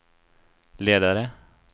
ledare